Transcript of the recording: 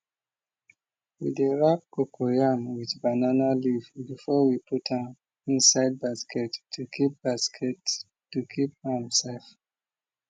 we dey wrap cocoyam with banana leaf before we put am inside basket to keep basket to keep am safe